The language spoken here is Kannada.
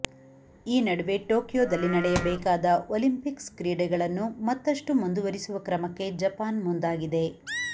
ಈ ನಡುವೆ ಟೋಕಿಯೋದಲ್ಲಿ ನಡೆಯಬೇಕಾದ ಒಲಿಂಪಿಕ್ಸ್ ಕ್ರೀಡೆಗಳನ್ನು ಮತ್ತಷ್ಟು ಮುಂದುವರಿಸುವ ಕ್ರಮಕ್ಕೆ ಜಪಾನ್ ಮುಂದಾಗಿದೆ